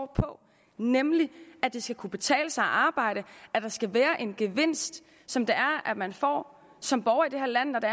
på nemlig at det skal kunne betale sig at arbejde at der skal være en gevinst som man får som borger i det her land